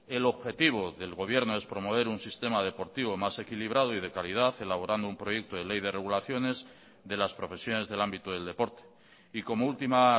el objetivo del gobierno es promover un sistema deportivo más equilibrado y de calidad elaborando un proyecto de ley de regulaciones de las profesiones del ámbito del deporte y como última